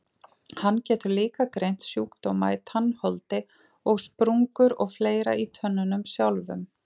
Hann getur líka greint sjúkdóma í tannholdi og sprungur og fleira í tönnunum sjálfum.